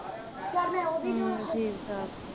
ਹਾਂ ਠੀਕ ਠਾਕ